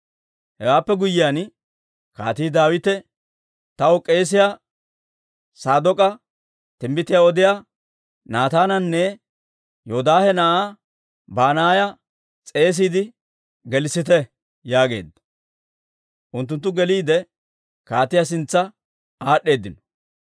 Hewaappe guyyiyaan Kaatii Daawite, «Taw k'eesiyaa Saadook'a, timbbitiyaa odiyaa Naataananne Yoodaahe na'aa Banaaya s'eesiide gelissite» yaageedda. Unttunttu geliide, kaatiyaa sintsa aad'd'eedino.